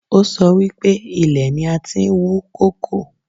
Ó sọ wípé ilẹ̀ ni a ti ń wú kókò